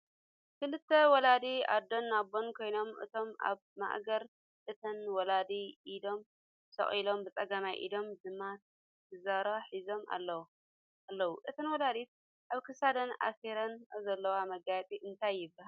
ክልተ ወለዲ ኣዶን ኣቦን ኮይኖም እቶም ኣባ ኣብ ማእገር እተን ወላዲ ኢዶም ሰቂሎም ብፀገማይ ኢዶም ድማ ከዘራ ሒዞም ኣለዉ ። እተን ወላዲት ኣብ ክሳደን ኣሲሮንኦ ዘለዋ መጋየፂ እንታይ ይባሃል ?